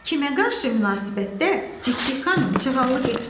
Kimə qarşı münasibətdə Cikcik xanım çıxalıq etmədi?